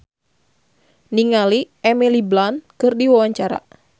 Rina Hasyim olohok ningali Emily Blunt keur diwawancara